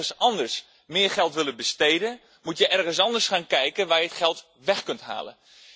Als we ergens anders meer geld willen besteden, moet we ergens anders gaan kijken waar we het geld weg kunnen halen.